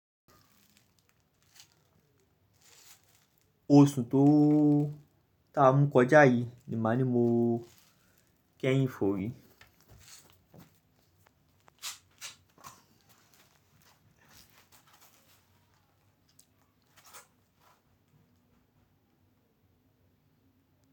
Oṣù tó tá mú kọjá yìí ni màá ní mo kéyìn fò rí.